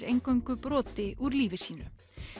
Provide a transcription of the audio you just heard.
eingöngu broti úr lífi sínu